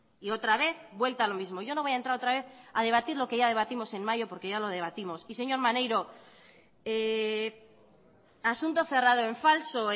y otra vez vuelta a lo mismo yo no voy a entrar otra vez a debatir lo que ya debatimos en mayo porque ya lo debatimos y señor maneiro asunto cerrado en falso